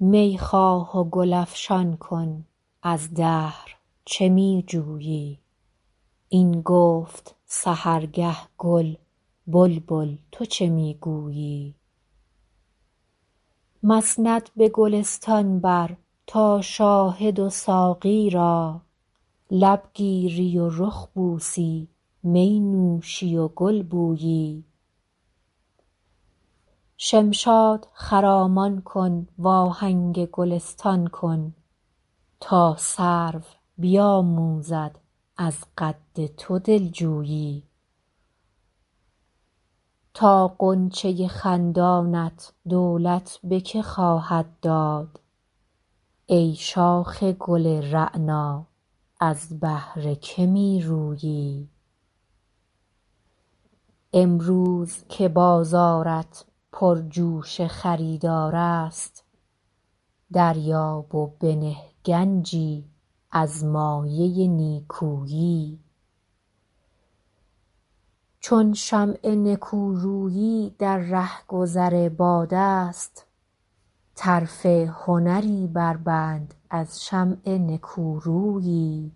می خواه و گل افشان کن از دهر چه می جویی این گفت سحرگه گل بلبل تو چه می گویی مسند به گلستان بر تا شاهد و ساقی را لب گیری و رخ بوسی می نوشی و گل بویی شمشاد خرامان کن وآهنگ گلستان کن تا سرو بیآموزد از قد تو دل جویی تا غنچه خندانت دولت به که خواهد داد ای شاخ گل رعنا از بهر که می رویی امروز که بازارت پرجوش خریدار است دریاب و بنه گنجی از مایه نیکویی چون شمع نکورویی در رهگذر باد است طرف هنری بربند از شمع نکورویی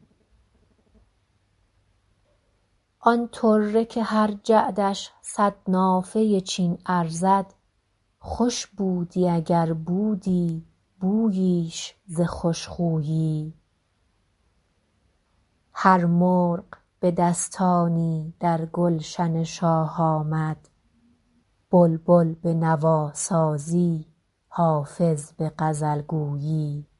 آن طره که هر جعدش صد نافه چین ارزد خوش بودی اگر بودی بوییش ز خوش خویی هر مرغ به دستانی در گلشن شاه آمد بلبل به نواسازی حافظ به غزل گویی